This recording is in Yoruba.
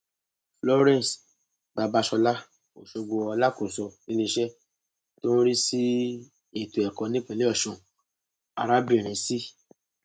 florence babasola ọṣọgbó alákòóso iléeṣẹ tó ń rí sí ètò ẹkọ nípínlẹ ọṣun arábìnrin c